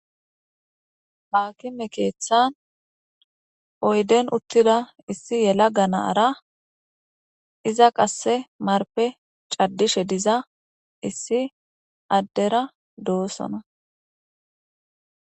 Akime keththan oyidden utida issi yelaga naara iza qase marpen cadishshe issi adera dossona